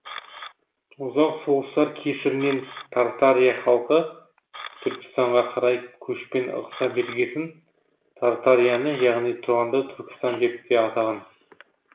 ұзақ соғыстар кесірінен тартария халқы түркістанға қарай көшпен ығыса бергесін тартарияны яғни тұранды түркістан деп те атаған